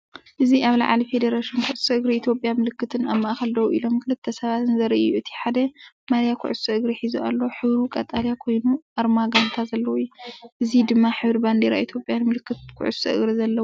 እዚ ኣብ ልዕሊ ፌደሬሽን ኩዕሶ እግሪ ኢትዮጵያ ምልክትን ኣብ ማእኸል ደው ኢሎም ክልተ ሰባትን ዘርኢ እዩ። እቲሓደ ማልያ ኩዕሶ እግሪ ሒዙ ኣሎ፣ ሕብሩ ቀጠልያ ኮይኑ ኣርማጋንታ ዘለዎ እዩ። እዚ ድማ ሕብሪ ባንዴራ ኢትዮጵያንምልክት ኩዕሶ እግሪ ዘለዎን እዩ።